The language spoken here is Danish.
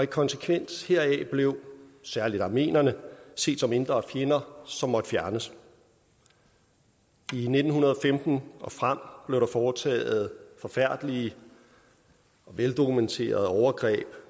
konsekvens heraf blev særlig armenierne set som indre fjender som måtte fjernes i nitten femten og frem blev der foretaget forfærdelige veldokumenterede overgreb